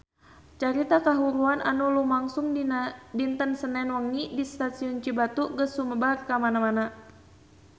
Carita kahuruan anu lumangsung dinten Senen wengi di Stasiun Cibatu geus sumebar kamana-mana